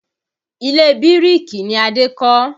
Ilé bíríkì ni Adé kọ́